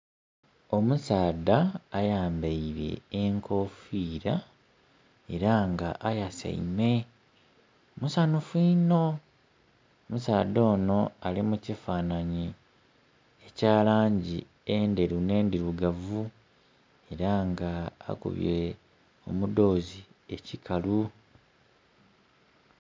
Omusaadha ayambeire enkofira era nga ayaseime, musanhufu inho. Omusaadha ono ali mu kifananhi ekya langi endheru n'endhirugavu era nga akubye omudhozi ekikalu.